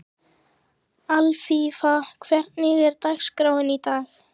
Alfífa, hvernig er dagskráin í dag?